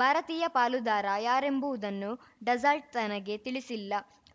ಭಾರತೀಯ ಪಾಲುದಾರ ಯಾರೆಂಬುವುದನ್ನು ಡಸಾಲ್ಟ್‌ ತನಗೆ ತಿಳಿಸಿಲ್ಲ